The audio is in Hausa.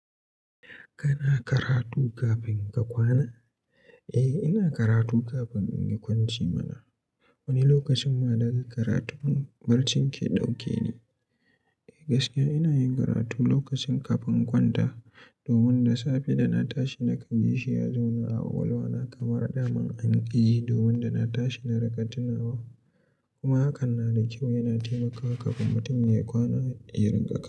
Kana karatu kafin ka kwana? Ina karatu kafin in yi kwanciya mana. Wani lokacin ma daga karatun barci ke dauke ni. Gaskiya ina yin karatu lokacin kafin in kwanta domin da safe da na tashi nakan ji shi ya zauna a kwakwalwa na kamar daman an yi, domin da na tashi na rinka tunawa. Kuma hakan na da kyau, yana taimakawa kafin mutum ya yi kwana ya rin ƙa.